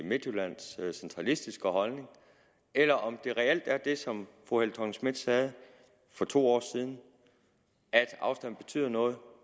midtjyllands centralistiske holdning eller om det reelt er det som fru helle thorning schmidt sagde for to år siden at afstanden betyder noget